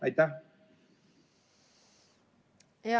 Aitäh!